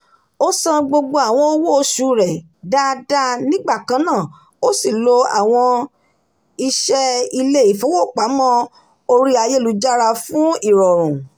ó san gbogbo àwọn owó oṣù rẹ̀ dáadáa nígbàkànná ó sì lo àwọn iṣẹ́ ilé-ifowopamọ́ orí ayélujára fún irọrun